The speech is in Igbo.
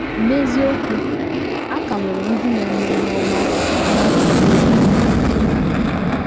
N’eziokwu, a ka nwere ndị na - eme ihe ọma n’achọghị ọdịmma nke ha.